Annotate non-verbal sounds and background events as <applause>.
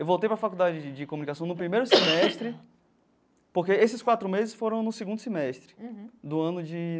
Eu voltei para a Faculdade de de Comunicação no primeiro semestre, <coughs> porque esses quatro meses foram no segundo semestre do ano de.